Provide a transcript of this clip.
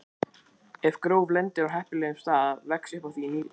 Ef gró lendir á heppilegum stað vex upp af því nýr einstaklingur.